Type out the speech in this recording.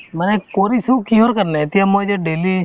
মানে কৰিছো কিহৰ কাৰণে এতিয়া মই যে daily